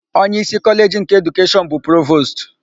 Onyeísí Kọleji nke Edukeshọn bụ Provostu.